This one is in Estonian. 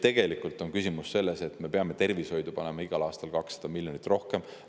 Tegelikult on küsimus ka selles, et me peame tervishoidu panema igal aastal 200 miljonit eurot rohkem.